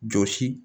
Jɔsi